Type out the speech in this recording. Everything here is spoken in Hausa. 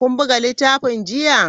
Kun buga littafin jiya?